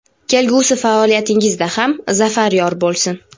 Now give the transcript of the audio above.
Kelgusi faoliyatingizda ham zafar yor bo‘lsin!.